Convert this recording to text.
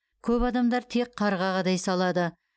көп адамдар тек қарға қадай салады